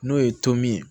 N'o ye tom ye